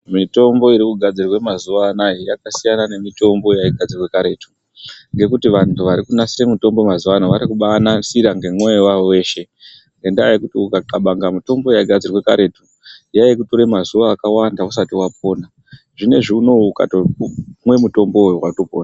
Mitombo irikugadzirwa mazuwa anaya yakasiyana nemitombo yaigadzirwa karetu ngekuti vantu varikunasira mitombo mazuwa ano varikubanasira ngemwoyo wavo weshe ngendaa yekuti ukaxabanga mitombo yaigadzirwa karetu yaikutorera mazuwa akawanda usati wapona zvinezvi unowu ukatopuwa mitombo yo watopora.